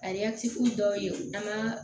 A dɔw ye danaya